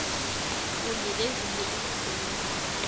kunye nezinye iinkhungo